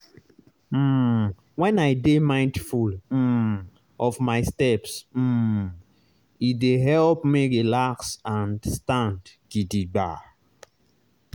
um when i dey mindful um of my steps um e dey help me relax and stand gidigba.